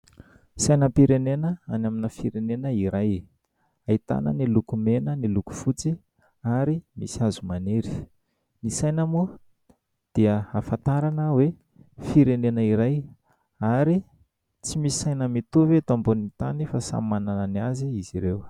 Sainam-pirenena any amina firenena iray. Ahitana ny loko mena, ny loko fotsy ary misy hazo maniry. Ny saina moa dia ahafantarana hoe firenena iray ary tsy misy saina mitovy eto ambony tany fa samy manana ny azy izy ireo.